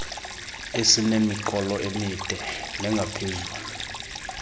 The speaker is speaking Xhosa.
esinemiqolo emide nengaphezulu